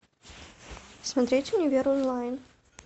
смотреть универ онлайн